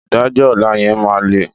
Ìdájọ́ ọ̀la yẹn máa le.